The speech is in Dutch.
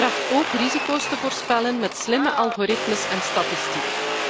Het tracht ook risico's te voorspellen met slimme algoritmes en statistiek.